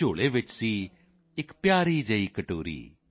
ਝੋਲੇ ਵਿੱਚ ਸੀ ਪਿਆਰੀ ਜਿਹੀ ਕਟੋਰੀ